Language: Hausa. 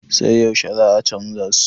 sai yaushe za a canja su?